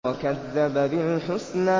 وَكَذَّبَ بِالْحُسْنَىٰ